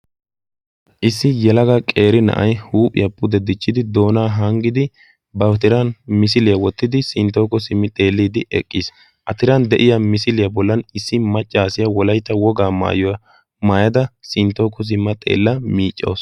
issi yalaga qeere na7ai huuphiyaa pudeddichchidi doonaa hanggidi batiran misiliyaa wottidi sinttooku simmi xeelliiddi eqqiis atiran de7iya misiliyaa bollan issi maccaasiya wolaita wogaa maayuwaa maayada sinttooku simma xeella miiccous